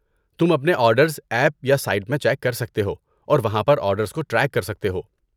تم اپنے orders app یا سائٹ میں چیک کر سکتے ہو اور وہاں پر آرڈرز کو ٹریک کر سکتے ہو۔